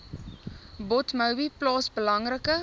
dotmobi plaas belangrike